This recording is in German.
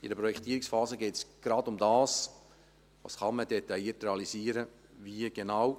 In der Projektierungsphase geht es genau darum, was im Detail realisiert werden kann, und wie genau.